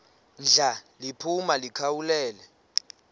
ndla liphuma likhawulele